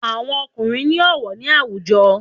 Àwọn ọkùnrín ni ọwọ ni awujo